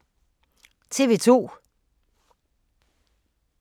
TV 2